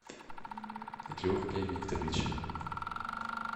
георгия викторовича